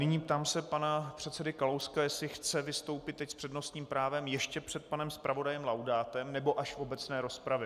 Nyní se ptám pana předsedy Kalouska, jestli chce vystoupit teď s přednostním právem ještě před panem zpravodajem Laudátem, nebo až v obecné rozpravě.